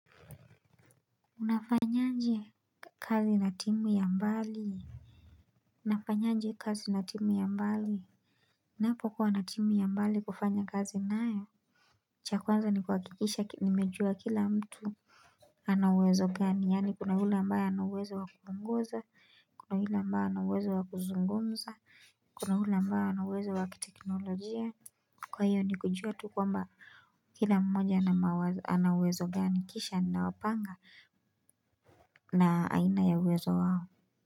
Unafanyaje kazi na timu ya mbali? Nafanyaje kazi na timu ya mbali? Napokuwa na timu ya mbali kufanya kazi, cha kwanza ni kuhakikisha nimejua kila mtu. Ana uwezo gani yaani kuna ule ambaye ana uwezo wa kupunguza. Kuna ule ambaye ana uwezo wa kuzungumza, kuna ule ambaye ana uwezo wa kiteknolojia. Kwa hiyo ni kujua tu kwamba kila mmoja ana uwezo gani kisha ninawapanga na aina ya uwezo wao.